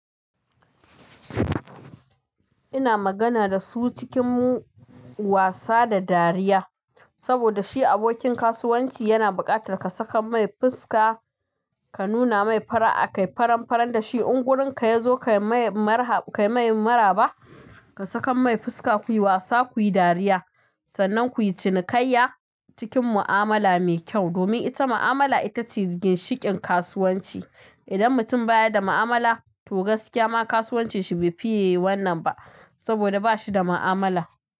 Ina magana da su cikin wasa da dariya. Saboda shi abokin kasuwanci yana buƙatar ka sakan mai fuska ka nuna mai fara'a akai, faran-faran da shi. In gurin ka yazo kai mai maraba, ka sakan mai fuska kuyi wasa, kuyi dariya, sannan kuyi cinikayya cikin mu'amala mai kyau. Domin ita mu'amala ita ce ginshiƙin kasuwanci. Idan mutum baya da mu'amala, to gaskiya ma kasuwanci shi bai fiye wannan ba saboda ba shi da mu'amala.